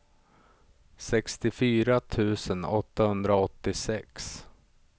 sextiofyra tusen åttahundraåttiosex